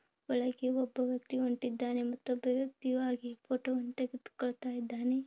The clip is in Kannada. ಒಳಗೆ ಒಬ್ಬ ವ್ಯಕ್ತಿ ಹೋಗುತ್ತಿದ್ದಾನೆ ಹೊರಗೆ ಒಬ್ಬ ವ್ಯಕ್ತಿ ಫೋಟೋ ತೆಗೆದುಕೊಳ್ಳುತ್ತಿದ್ದಾನೆ.